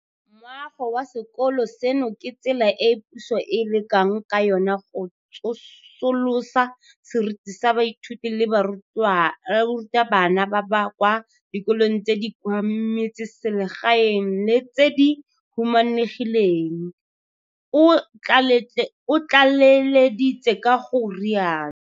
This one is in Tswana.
Moago wa sekolo seno ke tsela e puso e lekang ka yona go tsosolosa seriti sa baithuti le barutabana ba kwa dikolong tse di kwa metseselegaeng le tse di humanegileng, o tlaleleditse ka go rialo.